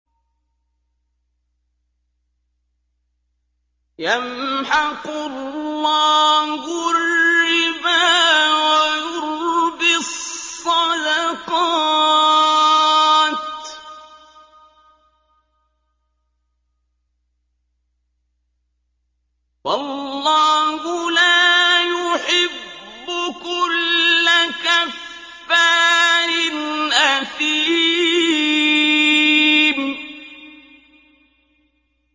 يَمْحَقُ اللَّهُ الرِّبَا وَيُرْبِي الصَّدَقَاتِ ۗ وَاللَّهُ لَا يُحِبُّ كُلَّ كَفَّارٍ أَثِيمٍ